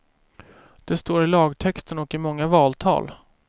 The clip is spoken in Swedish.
Det står i lagtexten och i många valtal.